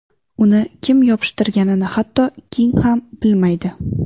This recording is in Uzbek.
Uni kim yopishtirganini hatto King ham bilmaydi.